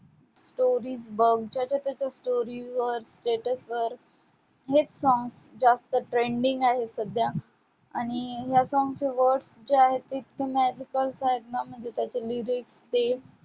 stories बघ, ज्याच्या-त्याच्या stories वर, status वर हेच song जास्त trending आहे सध्या. आणि ह्या song चे words जे आहेत ते इतके magicals आहेत ना म्हणजे त्याचे lyrics ते